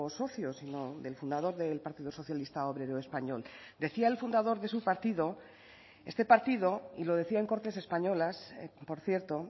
socio sino del fundador del partido socialista obrero español decía el fundador de su partido este partido y lo decía en cortes españolas por cierto